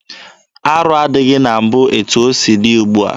Arụ adịghị na mbụ etu o si dị ugbua.